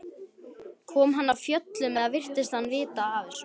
Kom hann af fjöllum eða virtist hann vita af þessu?